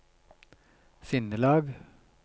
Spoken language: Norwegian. sinnelag